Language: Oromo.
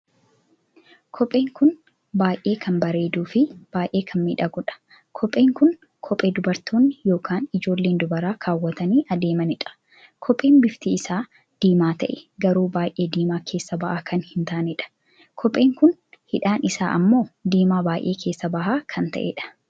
Kopheen kun baay'ee kan bareeduu fi baay'ee kan miidhaguudha. kophee kun kophee dubartoonni ykn ijoolleen dubaraa kaawwatanii adeemaniidha. kopheen bifti isaa diimaa tahee garuu baay'ee diimaa keessa ba'aa kan hin taaneedha. kopheen kun hidhaan isaa ammoo diimaa baay'ee keessa baha kan taheedha.